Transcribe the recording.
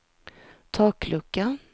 taklucka